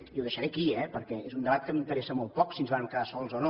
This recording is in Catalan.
i ho deixaré aquí perquè és un debat que m’interessa molt poc si ens vàrem quedar sols o no